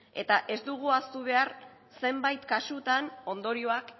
eta ez dugu ahaztu behar zenbait kasutan ondorioak